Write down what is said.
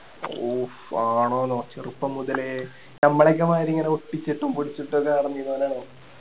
ഓഹ് ആണോന്നോ ചെറുപ്പം മുതലേ നമ്മളെക്കെ മാതിരി ഇങ്ങനെ ഒട്ടിച്ചിട്ടും പൊട്ടിച്ചിട്ടും ഓക്കേ നടന്നിരുന്നവനാണ്